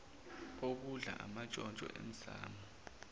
okudla amantshontsho emsamo